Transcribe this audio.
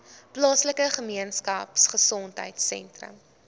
plaaslike gemeenskapgesondheid sentrum